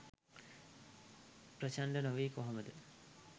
ප්‍රචණ්ඩ නොවී කොහොමද